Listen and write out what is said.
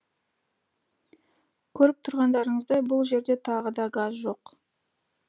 көріп тұрғандарыңыздай бұл жерде тағы да газ жоқ